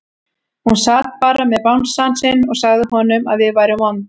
Hún sat bara með bangsann sinn og sagði honum að við værum vond.